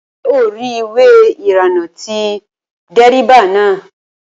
Ṣé o rí ìwé ìrìnnà ti dérébà náà?